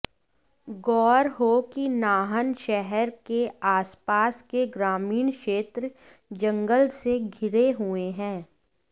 गौर हो कि नाहन शहर के आसपास के ग्रामीण क्षेत्र जंगल से घिरे हुए हैं